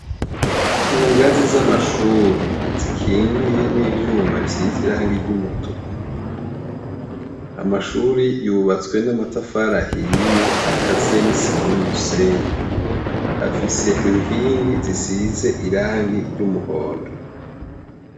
Kungazi z'amashure zikingiye n'ivyuma vy'umutuku, amashuri yubatswe n'amatafari ahiye akaziye n'isima n'umusenyi ,afise inkingi zisize irangi ry'umuhondo.